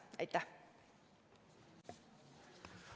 Aitäh!